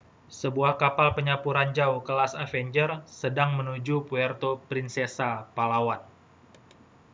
sebuah kapal penyapu ranjau kelas avenger sedang menuju puerto princesa palawan